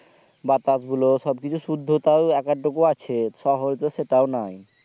বাতাসগুলো ওকিছু শুদ্ধতাও একাদটুকু আছে শহরে তো সেটাও নাই